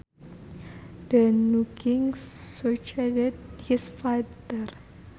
The new king succeeded his father